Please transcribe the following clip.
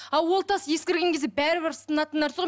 а ол тас ескірген кезде бәрібір сынатын нәрсе ғой